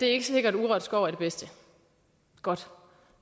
er sikkert at urørt skov er det bedste godt